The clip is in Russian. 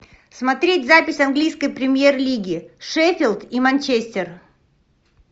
смотреть запись английской премьер лиги шеффилд и манчестер